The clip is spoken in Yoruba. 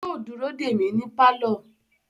Yóò dúró dè mí ní pálọ̀